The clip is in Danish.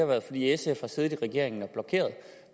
været at sf har siddet i regeringen og blokeret